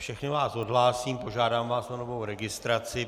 Všechny vás odhlásím, požádám vás o novou registraci.